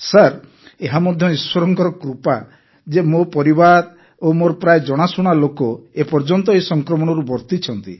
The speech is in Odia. ସାର୍ ଏହା ମଧ୍ୟ ଈଶ୍ୱରଙ୍କର କୃପା ଯେ ମୋ ପରିବାର ଓ ମୋର ପ୍ରାୟ ଜଣାଶୁଣା ଲୋକ ଏ ପର୍ଯ୍ୟନ୍ତ ଏହି ସଂକ୍ରମଣରୁ ବର୍ତ୍ତିଛନ୍ତି